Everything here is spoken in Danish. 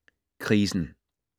Krisen